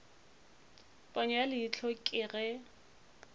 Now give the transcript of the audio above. ponyo ya leihlo ke ge